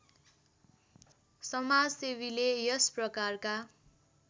समाजसेवीले यस प्रकारका